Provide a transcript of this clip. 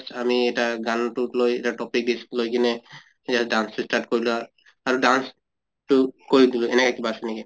আমি এটা গানতোক লৈ এটা topic লৈ কিনে just dance start কৰিলা, আৰু dance তো কৰি দিলো এনেকা কিবা আছে নেকি?